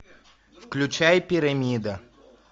включай пирамида